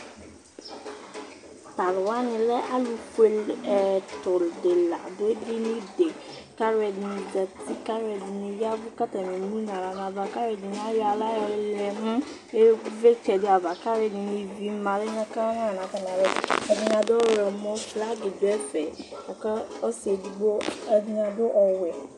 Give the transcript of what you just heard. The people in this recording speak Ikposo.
Tʋ alʋ wanɩ lɛ alʋfuele ɛtʋ la dʋ edini dɩ kʋ alʋɛdɩnɩ zati kʋ alʋɛdɩnɩ ya ɛvʋ kʋ tanɩ emu nʋ aɣla nʋ ava kʋ alʋɛdɩnɩ ayɔ aɣla yɔlɛ nʋ ɩvlɩtsɛ dɩ ava kʋ alʋɛdɩnɩ ivi ma lɛ ka ma nʋ atamɩalɔ Ɛdɩnɩ adʋ ɔɣlɔmɔ, flagɩ dʋ ɛfɛ la kʋ ɔsɩ edigbo, ɛdɩnɩ adʋ ɔwɛ